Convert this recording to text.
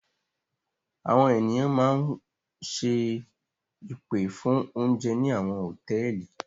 Àwọn ènìyàn máa ń ṣe ìpè fún oúnjẹ ní àwọn hòtẹ́ẹ́lì.